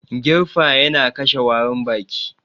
Girfa yana kashe warin baki